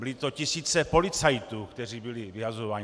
Byly to tisíce policistů, kteří byli vyhazováni.